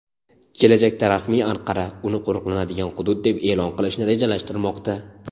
Kelajakda rasmiy Anqara uni qo‘riqlanadigan hudud deb e’lon qilishni rejalashtirmoqda.